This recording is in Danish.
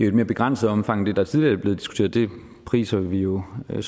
et mere begrænset omfang end det der tidligere er blevet diskuteret det priser vi jo og